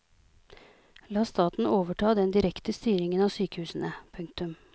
La staten overta den direkte styringen av sykehusene. punktum